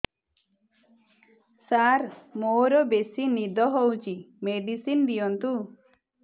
ସାର ମୋରୋ ବେସି ନିଦ ହଉଚି ମେଡିସିନ ଦିଅନ୍ତୁ